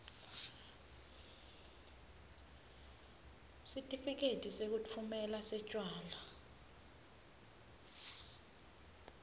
sitifiketi sekutfumela setjwala